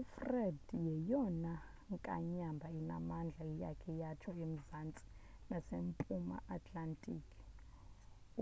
ufred yeyona nkanyamba inamandla eyakha yakho emzantsi nasempuma atlantic